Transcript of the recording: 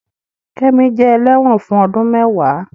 Kẹ́mi jẹ́ ẹlẹ́wọ̀n fún ọdún mẹ́ẹ̀wá